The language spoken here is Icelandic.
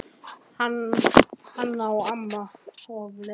Hana á amma og við leigjum af henni.